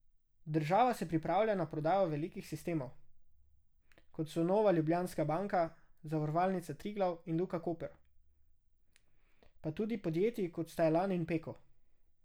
Država se pripravlja na prodajo velikih sistemov, kot so Nova Ljubljanska banka, Zavarovalnica Triglav in Luka Koper, pa tudi podjetij kot sta Elan in Peko.